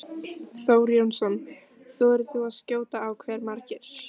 Þór Jónsson: Þorir þú að skjóta á hve margir?